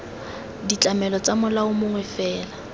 ditlamelo tsa molao mongwe fela